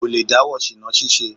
Kò lè dáwọ́ ṣìná ṣíṣe.